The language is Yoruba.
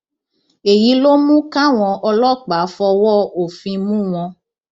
èyí ló mú káwọn ọlọpàá fọwọ òfin mú wọn